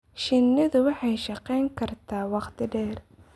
Shinnidu waxay shaqayn kartaa wakhti dheer.